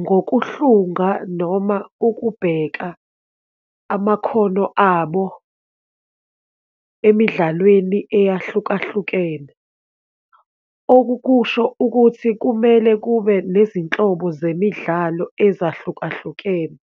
Ngokuhlunga noma ukubheka amakhono abo emidlalweni eyahlukahlukene, okukusho ukuthi kumele kube nezinhlobo zemidlalo ezahlukahlukene